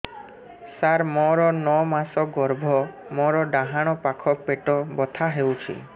ସାର ମୋର ନଅ ମାସ ଗର୍ଭ ମୋର ଡାହାଣ ପାଖ ପେଟ ବଥା ହେଉଛି